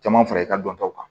Caman fara i ka dɔntaw kan